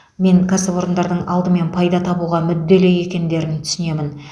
мен кәсіпорындардың алдымен пайда табуға мүдделі екендерін түсінемін